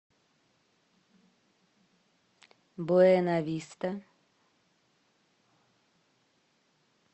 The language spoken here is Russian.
буэнависта